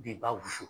Binba wusu